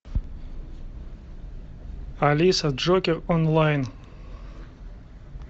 алиса джокер онлайн